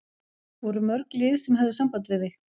Voru mörg lið sem höfðu samband við þig?